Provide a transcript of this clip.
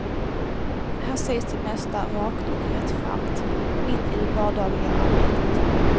Här sägs det mesta rakt och rättframt mitt i det vardagliga arbetet.